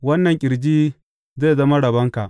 Wannan ƙirji zai zama rabonka.